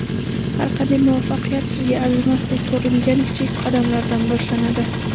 Har qanday muvaffaqiyat sizga arzimasdek ko‘ringan kichik qadamlardan boshlanadi.